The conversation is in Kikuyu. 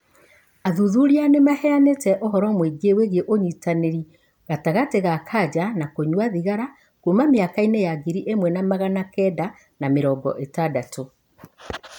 Athuthuria nĩ maheanĩte ũhoro mũingĩ wĩgiĩ ũnyitaniri gatagati ga kanja na kũnyua thigara kuma mĩaka-inĩ ya ngiri iĩmwe na magana kenda ma mĩrongo ĩtandatũ.